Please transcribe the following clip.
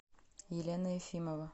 елена ефимова